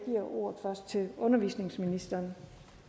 ordet til undervisningsministeren